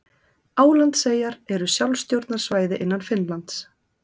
Álandseyjar eru sjálfstjórnarsvæði innan Finnlands.